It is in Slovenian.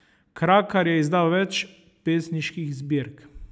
Krakar je izdal več pesniških zbirk.